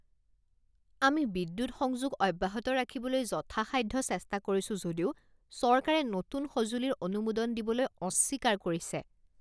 আমি বিদ্যুৎ সংযোগ অব্যাহত ৰাখিবলৈ যথাসাধ্য চেষ্টা কৰিছোঁ যদিও চৰকাৰে নতুন সঁজুলিৰ অনুমোদন দিবলৈ অস্বীকাৰ কৰিছে